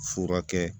Fura kɛ